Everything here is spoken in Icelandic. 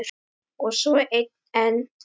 Og svo einn enn.